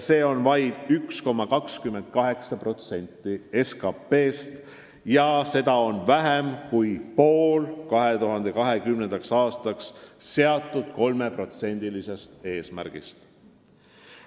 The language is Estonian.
See on vaid 1,28% SKT-st ning seda on vähem kui pool 2020. aastaks seatud eesmärgist ehk 3% SKT-st.